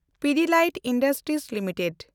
Pidilite industries limited